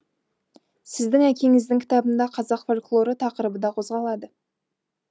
сіздің әкеңіздің кітабында қазақ фольклоры тақырыбы да қозғалады